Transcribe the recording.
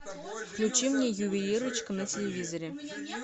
включи мне ювелирочка на телевизоре